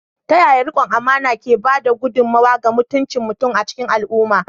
Ta yaya riƙon amana ke ba da gudummawa ga mutuncin mutum a cikin al’umma?